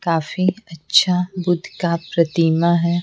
काफी अच्छा बुद्ध का प्रतिमा है।